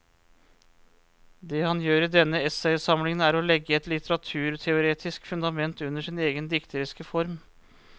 Det han gjør i denne essaysamlingen er å legge et litteraturteoretisk fundament under sin egen dikteriske form.